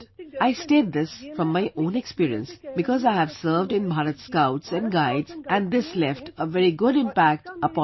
I state this from my own experience because I have served in the Bharat Scouts and Guides and this had a very good impact upon my life